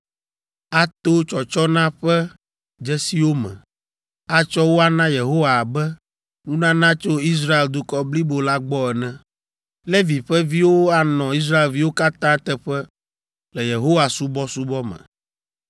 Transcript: ato tsɔtsɔna ƒe dzesiwo me, atsɔ wo ana Yehowa abe nunana tso Israel dukɔ blibo la gbɔ ene. Levi ƒe viwo anɔ Israelviwo katã teƒe le Yehowa subɔsubɔ me.